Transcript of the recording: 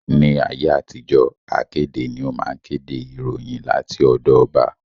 Ní ayé àtijó, akéde ni ó máa ń kéde ìròyìn láti ọ̀dọ ọba